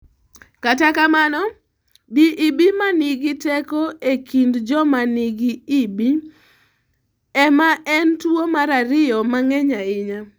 Kata kamano, DEB ma nigi teko e kind joma nigi EB, e ma en tuwo mar ariyo ma nge'ny ahinya.